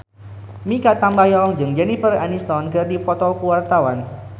Mikha Tambayong jeung Jennifer Aniston keur dipoto ku wartawan